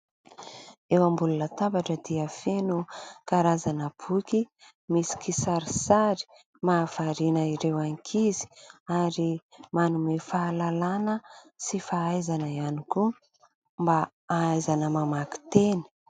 Eo ambony latabatra dia feno karazana boky misy kisarisary mahavariana ireo ankizy ary manome fahalalana sy fahaizana ihany koa mba hahaizana mamaky teny.